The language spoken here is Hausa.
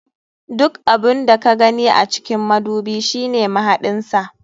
Duk abun da ka gani a cikin madubi shine mahaɗin sa.